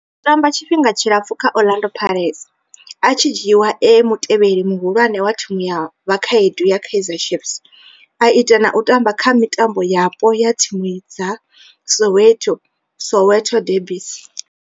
O tamba tshifhinga tshilapfhu kha Orlando Pirates, a tshi dzhiiwa e mutevheli muhulwane wa thimu ya vhakhaedu ya Kaizer Chiefs, a ita na u tamba kha mitambo yapo ya thimu dza Soweto, Soweto derbies.